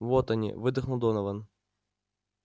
вот они выдохнул донован